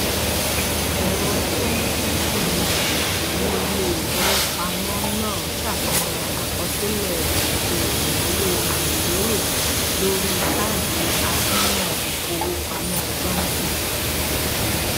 ẹrọ tó ń kẹẹfín jìbìtì ní ilé ìfowópamọ náà ṣàfihàn àkọsílẹ ètò ìnáwó àìlérò lórí káàdì àsùnwòn ìfowópamọ johnson